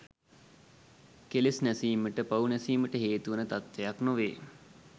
කෙලෙස් නැසීමට පව් නැසීමට හේතුවන තත්ත්වයක් නොවේ.